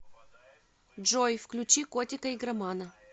джой включи котика игромана